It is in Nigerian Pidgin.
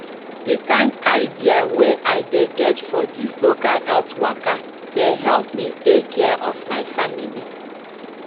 de kind idea wey i de get for this local health waka de help me take care of my family